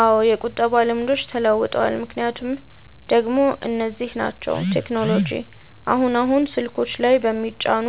አዎ የቁጠባ ልምዶች ተለውጠዋል። ምክንያቶቹ ደሞ እነዚህ ናቸው፦ 1. ቴክኖሎጂ፦ አሁን አሁን ስልኮች ላይ በሚጫኑ